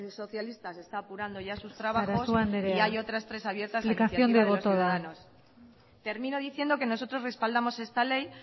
socialistas está apurando ya sus trabajos y hay otras tres abiertas a iniciativa de los ciudadanos sarasua andrea explicación de voto da termino diciendo que nosotros respaldamos esta ley